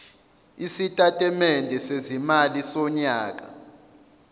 isitatimende sezimali sonyaka